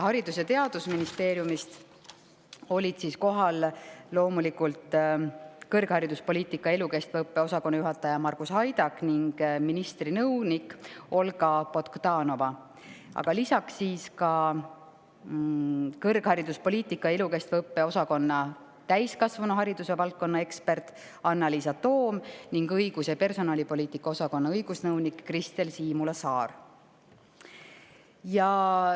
Haridus- ja Teadusministeeriumist olid kohal loomulikult kõrghariduspoliitika ja elukestva õppe osakonna juhataja Margus Haidak ning ministri nõunik Olga Bogdanova, lisaks ka kõrghariduspoliitika ja elukestva õppe osakonna täiskasvanuhariduse valdkonna ekspert Annaliisa Toom ning õigus- ja personalipoliitika osakonna õigusnõunik Kristel Siimula-Saar.